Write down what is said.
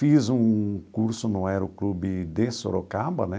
Fiz um curso no Aeroclube de Sorocaba, né?